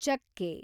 ಚಕ್ಕೆ